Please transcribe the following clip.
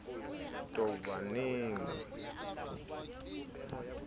tobaneng le ho ntshwa ha